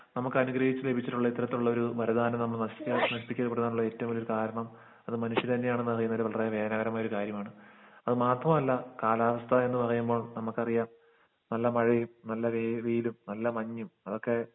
നമ്മുക്ക് അനുഗ്രഹിച്ച് ലഭിച്ചിട്ടുള്ള ഇത്തരത്തിലുള്ളൊരു മരുന്നാണ് നമ്മൾ നശിച്ച് നശിപ്പിച്ച് കൊടുക്കാനുള്ള ഏറ്റവും വലിയ കാരണം അത് മനുഷ്യർ തന്നെയാണെന്നാണ് ഒരു കാര്യമാണ് അത് മാത്രല്ല കാലാവസ്ഥയെന്ന് പറയുമ്പോ നമ്മുക്കറിയാം എല്ലാ മഴയും എല്ലാ വെയി വെയിലും എല്ലാ മഞ്ഞും അതൊക്കെ